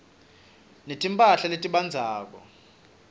netimphahla letibandzako